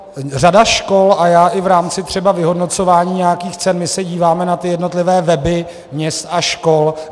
Řada škol a i já v rámci třeba vyhodnocování nějakých cen, my se díváme na ty jednotlivé weby měst a škol.